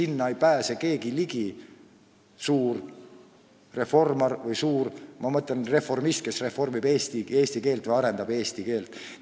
Väikesele ei pääse suur reformar – ma mõtlen reformisti, kes reformib või arendab eesti keelt – ligi.